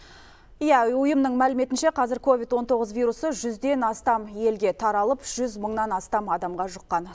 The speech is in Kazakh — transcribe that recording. иә ұйымның мәліметінше қазір ковид он тоғыз вирусы жүзден астам елге таралып жүз мыңнан астам адамға жұққан